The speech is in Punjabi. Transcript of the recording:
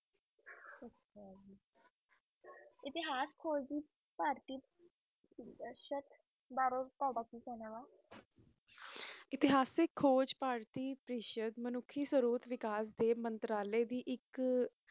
ਇਤੇਹਾਸ ਉਤੇਹਾਸਿਕ ਖੋਜ ਭਾਰਤੀ ਮਾਨੁਸ਼ਿਕ ਮੰਤਰਾਲੇ ਦੀ ਏਇਕ